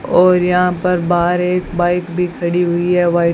और यहां पर बाहर एक बाइक भी खड़ी हुई है वाइट --